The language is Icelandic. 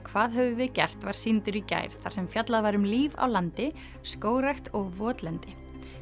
hvað höfum við gert var sýndur í gær þar sem fjallað var um líf á landi skógrækt og votlendi